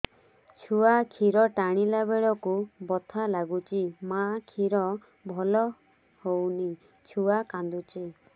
ଛୁଆ ଖିର ଟାଣିଲା ବେଳକୁ ବଥା ଲାଗୁଚି ମା ଖିର ଭଲ ହଉନି ଛୁଆ କାନ୍ଦୁଚି